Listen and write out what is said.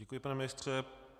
Děkuji, pane ministře.